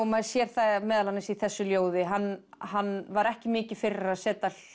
maður sér það meðal annars í þessu ljóði hann hann var ekki mikið fyrir að setja